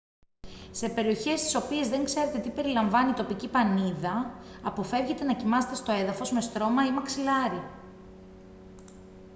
σε περιοχές στις οποίες δεν ξέρετε τι περιλαμβάνει η τοπική πανίδα αποφεύγετε να κοιμάστε στο έδαφος με στρώμα ή μαξιλάρι